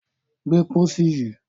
Gbé pósí yìí!